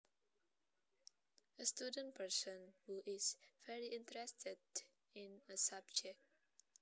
A student person who is very interested in a subject